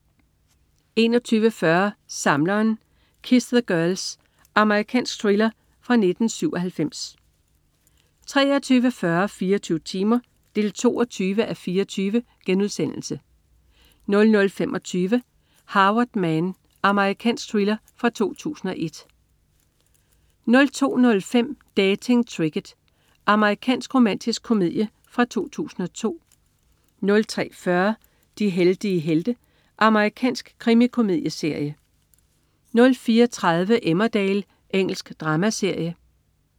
21.40 Samleren. Kiss the Girls. Amerikansk thriller fra 1997 23.40 24 timer 22:24* 00.25 Harvard Man. Amerikansk thriller 2001 02.05 Dating Tricket. Amerikansk romantisk komedie fra 2002 03.40 De heldige helte. Amerikansk krimikomedieserie 04.30 Emmerdale. Engelsk dramaserie